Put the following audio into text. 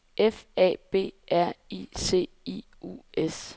F A B R I C I U S